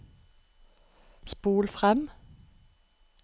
spol frem